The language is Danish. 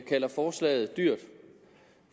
kalder forslaget dyrt